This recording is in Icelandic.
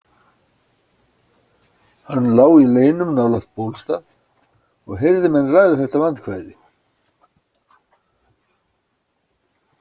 Hann lá í leynum nálægt Bólstað og heyrði menn ræða þetta vandkvæði.